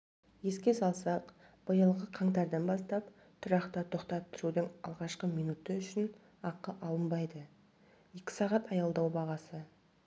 еске салсақ биылғы қаңтардан бастаптұрақта тоқтап тұрудың алғашқы минуты үшін ақы алынбайды екі сағат аялдау бағасы